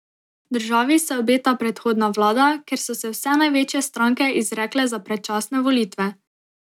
Državi se obeta prehodna vlada, ker so se vse največje stranke izrekle za predčasne volitve.